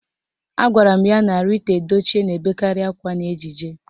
Agwara m ya na Rita Edochie na-ebekarị akwa n'ejije